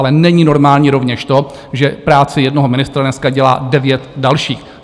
Ale není normální rovněž to, že práci jednoho ministra dneska dělá devět dalších.